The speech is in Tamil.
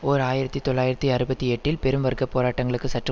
ஓர் ஆயிரத்தி தொள்ளாயிரத்தி அறுபத்தி எட்டில் பெரும் வர்க்க போராட்டங்களுக்கு சற்று